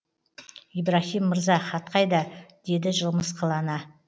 ибраһим мырза хат қайда деді жымысқылана